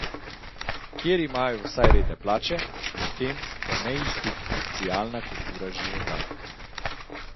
Kjer pa imajo vsaj redne plače, medtem ko neinstitucionalna kultura životari.